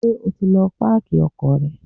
Ṣé o ti lọ páàkì ọkọ̀ rẹ?